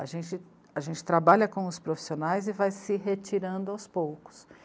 A gente, a gente trabalha com os profissionais e vai se retirando aos poucos.